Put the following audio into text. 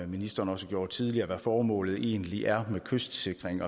ministeren også gjorde tidligere hvad formålet egentlig er med kystsikring